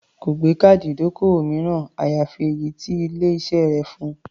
Kò gbé káàdì ìdókòwò mìíràn, àyàfi èyí tí ilé-iṣẹ́ rẹ̀ fun.